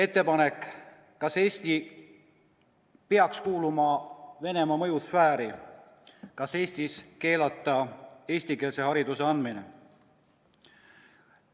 Veel: "Kas Eesti peaks kuuluma Venemaa mõjusfääri?" või "Kas Eestis keelata eestikeelse hariduse andmine?